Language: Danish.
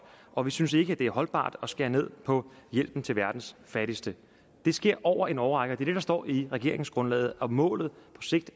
og vi synes ikke det er holdbart at skære ned på hjælpen til verdens fattigste det sker over en årrække det det der står i regeringsgrundlaget målet